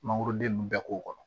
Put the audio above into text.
Mangoroden ninnu bɛɛ k'o kɔnɔ